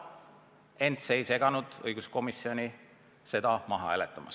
Ent see ei seganud õiguskomisjonil seda ettepanekut maha hääletada.